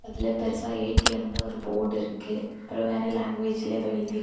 இதுல பெருசா ஏ_டி_எம் னு ஒரு போர்டு இருக்கு அப்பறம் வேற லாங்குவேஜ்ல ஏதோ எழுதிருக்கு.